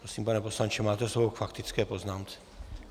Prosím, pane poslanče, máte slovo k faktické poznámce.